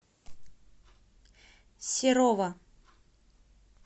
серова